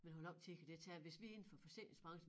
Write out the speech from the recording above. Men hvor lang tid kan det tage hvis vi indenfor forsikringsbranchen